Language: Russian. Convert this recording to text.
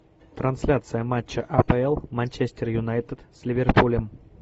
трансляция матча апл манчестер юнайтед с ливерпулем